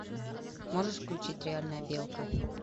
можешь включить реальная белка